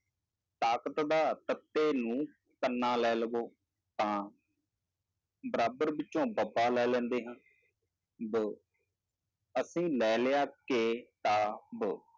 ਤਾਕਤ ਦਾ ਤੱਤੇ ਨੂੰ ਕੰਨਾ ਲੈ ਲਵੋ ਤਾਂ ਬਰਾਬਰ ਵਿੱਚੋਂ ਬੱਬਾ ਲੈ ਲੈਂਦੇ ਹਾਂ ਬ, ਅਸੀਂ ਲੈ ਲਿਆ ਕਿ, ਤਾਂ, ਬ,